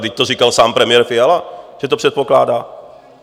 Vždyť to říkal sám premiér Fiala, že to předpokládá.